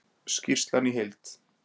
Skýrslan í heild